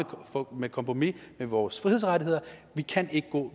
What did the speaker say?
på kompromis med vores frihedsrettigheder og vi kan ikke gå